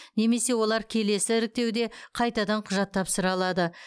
немесе олар келесі іріктеуде қайтадан құжат тапсыра алады